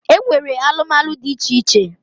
E nwere alụmalụ dị iche iche.